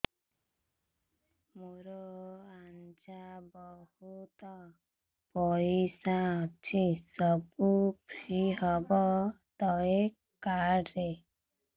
ମୋର ଆଜ୍ଞା ବହୁତ ପଇସା ଅଛି ସବୁ ଫ୍ରି ହବ ତ ଏ କାର୍ଡ ରେ